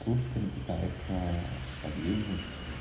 слушателя пытается сподвигнуть